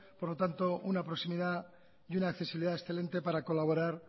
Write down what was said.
por lo tanto una proximidad y una accesibilidad excelente para colaborar